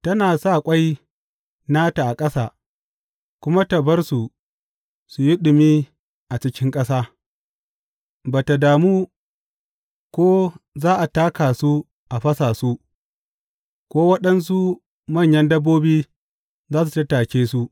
Tana sa ƙwai nata a ƙasa kuma ta bar su su yi ɗumi a cikin ƙasa, ba tă damu ko za a taka su a fasa su, ko waɗansu manyan dabbobi za su tattake su.